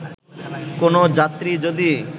কোন যাত্রী যদি